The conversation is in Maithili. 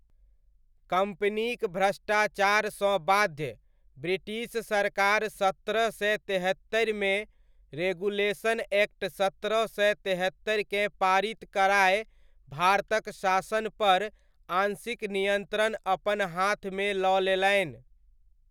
कम्पनीक भ्रष्टाचारसँ बाध्य, ब्रिटिश सरकार सत्रह सय तेहत्तरिमे, रेगुलेशन एक्ट सत्रह सय तेहत्तरिकेँ पारित कराय भारतक शासनपर आंशिक नियन्त्रण अपन हाथमे लऽ लेलनि।